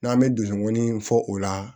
N'an bɛ donkɔni fɔ o la